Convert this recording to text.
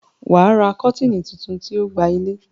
wà á ra kọ́tìnnì tuntun tí o gba ilé.